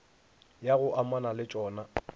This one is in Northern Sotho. ya go amana le tšona